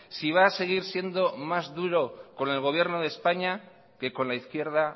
si va a seguir siendo más duro con el gobierno de españa que con la izquierda